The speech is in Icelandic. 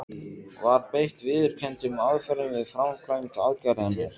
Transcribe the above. Var beitt viðurkenndum aðferðum við framkvæmd aðgerðarinnar?